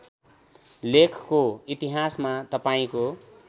लेखको इतिहासमा तपाईँको